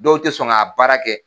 Dɔw tɛ sɔn ka baara k'ɛ.